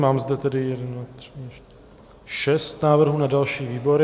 Mám zde tedy šest návrhů na další výbory.